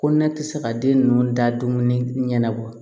Ko ne tɛ se ka den ninnu da dumuni ɲɛnna wa